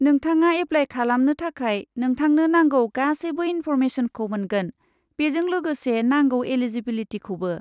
नोंथाङा एप्लाय खालामनो थाखाय नोंथांनो नांगौ गासैबो इनफ'रमेसनखौ मोनगोन, बेजों लोगोसे नांगौ एलिजिबिलिटिखौबो।